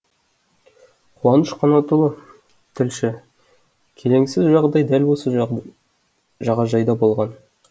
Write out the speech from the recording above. қуаныш қанатұлы тілші келеңсіз жағдай дәл осы жағажайда болған